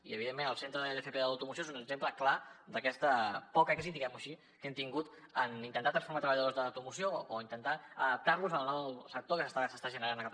i evidentment el centre d’fp de l’automoció és un exemple clar d’aquest poc èxit diguem ho així que hem tingut en intentar transformar treballadors de l’automoció o intentar adaptar los al nou sector que s’està generant a catalunya